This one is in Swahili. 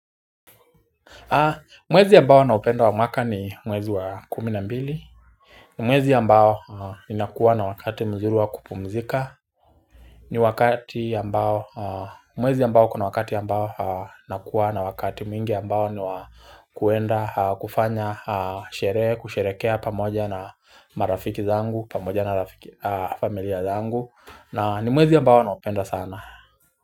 Mwezi ambao na upenda wa mwaka ni mwezi wa kumi na mbili. Mwezi ambao ninakuwa na wakati mzuru wa kupumzika Mwezi ambao kuna wakati ambao nakuwa na wakati mwingi ambao ni wa kuenda kufanya kusherekea pamoja na marafiki zangu pamoja na familia zangu na ni mwezi ambao na upenda sana.